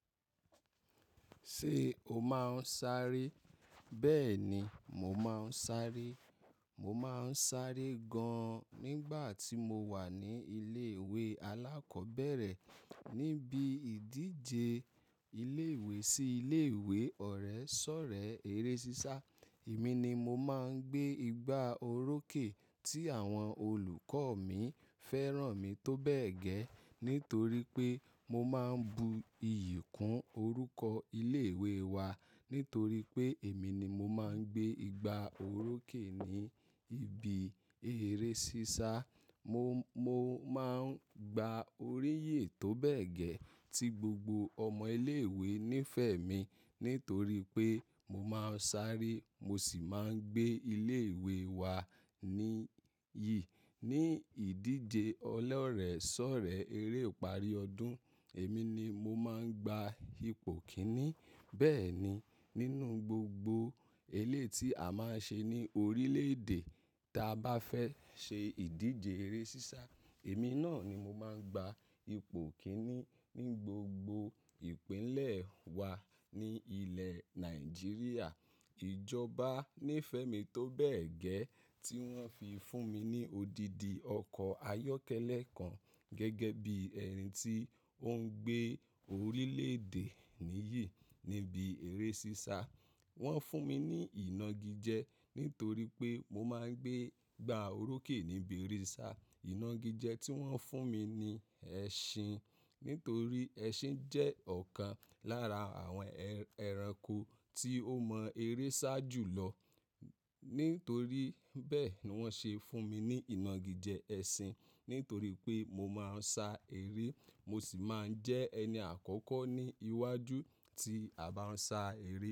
Ṣé o máa ń sáré? Bẹ́ẹ̀ni, mo máa ń sáré. Mo máa ń sáré gan-an nígbà tí mo wà ní ilé ìwé alákọ̀ọ́bẹ̀rẹ̀. Nibi ìdíje ilé ìwé sí ilé ìwé ọ̀rẹ́ ṣọ̀rẹ́ eré sísá, èmi ni mo máa ń gbé igba orókè tí àwọn olùkọ́ mi fẹ́ràn mi tó bẹ́ẹ̀ gẹ́ẹ́ nítorí pé mo máa ń bu iyì kún orúkọ ilé ìwé wa. Nítorí pé èmi ni mo máa ń gbé igba orókè ní ibi eré sísá. Mo, mo máa ń gba oríyè tó bẹ́ẹ̀ gẹ́ẹ́ tí gbogbo ọmọ ilé ìwé nífẹ̀ẹ́ mi nítorí pé mo máa ń sáré, mo sì máa ń gbé ilé ìwé wa níyì. Ní ìdíje ọlọ́rẹ̀ẹ́ ṣọ̀rẹ́ eré ìparí ọdún, èmi ni mo máa ń gba ipò kíní. Bẹ́ẹ̀ ni, nínú gbogbo eléi tí a máa ń ṣe ní orílẹ̀-èdè tí a bá fẹ́ ṣe ìdíje eré sísá, èmi náà ni mo máa ń gba ipò kíní. Ní gbogbo ìpínlẹ̀ wa ní ilẹ̀ Nàìjíríà, ìjọba nífẹ̀ẹ́ mi tó bẹ́ẹ̀ gẹ́ẹ́ tí wọ́n fi fún mi ní odidi ọkọ̀ ayọ́kẹ́lẹ́ kan gẹ́gẹ́ bí ẹni tí ó ń gbé orílẹ̀-èdè nìyì níbi eré sísá. Wọ́n fún mi ní inági jẹ nítorí pé mo máa ń gbé igba orókè níbi eré sísá. Ìnági jẹ tí wọ́n fún mi ni ẹṣin, nítorí ẹṣin jẹ́ ọ̀kan lára àwọn ẹranko tí ó mọ eré sá jù lọ. Nítorí bẹ́ẹ̀ ni wọ́n ṣe fún mi ní inági jẹ ẹṣin, nítorí pé mo máa ń sá eré, mo sì máa ń jẹ́ ẹni àkọ́kọ́ ní iwájú tí a bá ń sá eré.